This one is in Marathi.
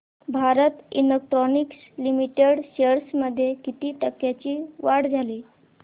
भारत इलेक्ट्रॉनिक्स लिमिटेड शेअर्स मध्ये किती टक्क्यांची वाढ झाली